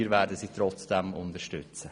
Wir werden sie aber dennoch unterstützen.